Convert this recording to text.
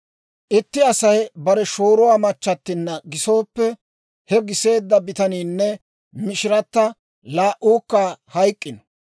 « ‹Itti Asay bare shooruwaa machchattinna gisooppe, he giseedda bitaniinne mishiritta laa"uukka hayk'k'ino.